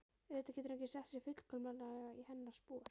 Auðvitað getur hann ekki sett sig fullkomlega í hennar spor.